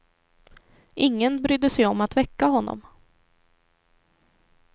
Ingen brydde sig om att väcka honom.